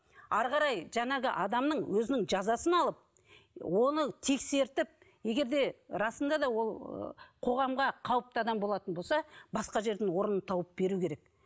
әрі қарай жаңағы адамның өзінің жазасын алып оны тексертіп егер де расында да ол ы қоғамға қауіпті адам болса басқа жерден орнын тауып беру керек